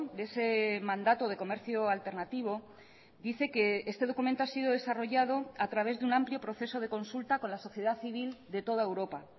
de ese mandato de comercio alternativo dice que este documento ha sido desarrollado a través de un amplio proceso de consulta con la sociedad civil de toda europa